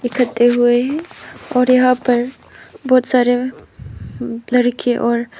हुए हैं और यहां पर बहुत सारे लड़के और--